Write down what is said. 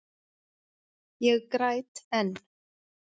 Ég græt enn.